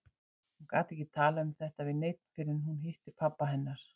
Hún gat ekki talað um þetta við neinn fyrr en hún hitti pabba hennar.